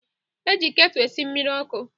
E ji ketụ esi mmiri ọkụ